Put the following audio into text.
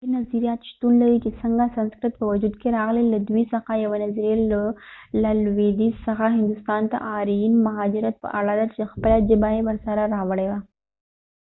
ډیر نظريات شتون لري چې څنګه سنسکرت په وجود کې راغلی له دوی څخه یوه نظريه له لویدیځ څخه هندوستان ته د آرین مهاجرت په اړه ده چې خپله ژبه یې ورسره راوړې وه